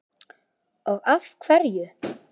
og af hverju?